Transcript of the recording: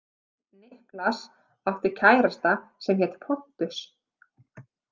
Niklas átti kærasta sem hét Pontus.